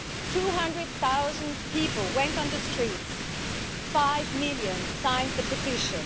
Two hundred thousand people went on the streets and five million signed the petition.